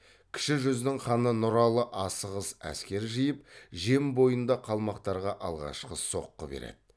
кіші жүздің ханы нұралы асығыс әскер жиып жем бойында қалмақтарға алғашқы соққы береді